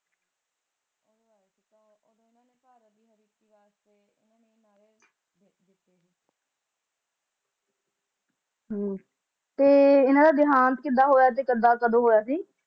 ਤੇ ਹਨ ਦਾ ਦੇਹਾਂਤ ਕਿੱਦਾਂ ਹੋਇਆ ਕੱਦ ਤੇ ਕਦੋ ਹੋਇਆ ਸੀ